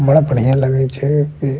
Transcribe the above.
बड़ा बढ़िया लगे छै की --